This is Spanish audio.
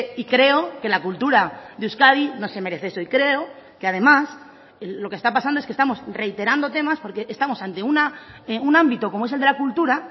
y creo que la cultura de euskadi no se merece eso y creo que además lo que está pasando es que estamos reiterando temas porque estamos ante un ámbito como es el de la cultura